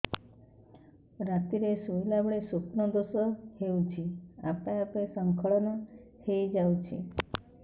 ରାତିରେ ଶୋଇଲା ବେଳେ ସ୍ବପ୍ନ ଦୋଷ ହେଉଛି ଆପେ ଆପେ ସ୍ଖଳନ ହେଇଯାଉଛି